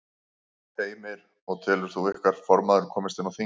Heimir: Og telur þú að ykkar formaður komist inn á þing?